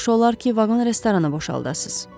Yaxşı olar ki, vaqon restoranı boşaldasız.